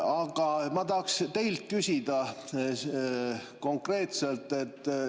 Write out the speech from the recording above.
Aga ma tahaksin teilt küsida konkreetselt.